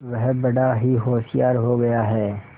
वह बड़ा ही होशियार हो गया है